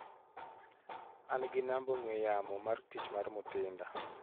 An gi namba ong'ue yamo mar tich mar Mutinda.